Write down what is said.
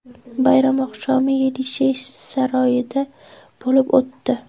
Bayram oqshomi Yelisey saroyida bo‘lib o‘tdi.